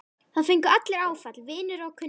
Það fengu allir áfall, vinir og kunningjar.